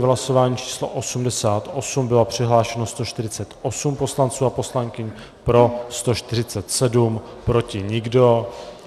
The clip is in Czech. V hlasování číslo 88 bylo přihlášeno 148 poslanců a poslankyň, pro 147, proti nikdo.